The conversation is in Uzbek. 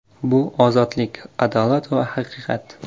Bu ozodlik, adolat va haqiqat”.